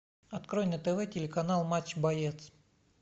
открой на тв телеканал матч боец